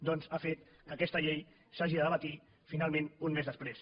doncs ha fet que aquesta llei s’hagi de debatre finalment un mes després